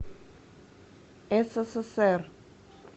ссср